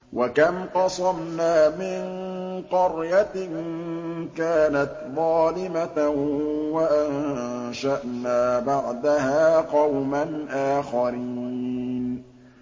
وَكَمْ قَصَمْنَا مِن قَرْيَةٍ كَانَتْ ظَالِمَةً وَأَنشَأْنَا بَعْدَهَا قَوْمًا آخَرِينَ